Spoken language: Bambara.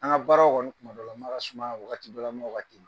An ŋa baaraw kɔni tumadɔlama ka suma a wagatidɔlama wagati